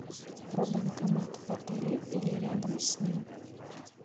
про банкомат в отеле или рядом с ним